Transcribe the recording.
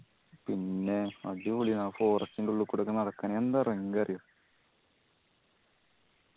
പിന്നെ അടിപൊളി ആണ് ആ forest ന്റെ ഉള്ളിക്കൂടെ ഒക്കെ നടക്കാൻ എന്താ അറിയോ